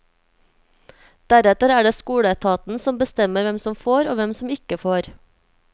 Deretter er det skoleetaten som bestemmer hvem som får, og hvem som ikke får.